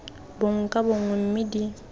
bongwe ka bongwe mme di